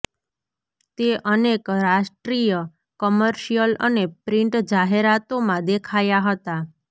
તે અનેક રાષ્ટ્રીય કમર્શિયલ અને પ્રિન્ટ જાહેરાતોમાં દેખાયા હતા